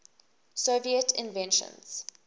soviet inventions